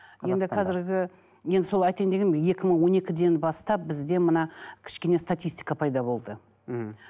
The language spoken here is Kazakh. енді қазіргі енді соны айтайын дегенмін екі мың он екіден бастап бізде мына кішкене статистика пайда болды мхм